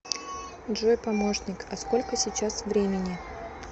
джой помощник а сколько сейчас времени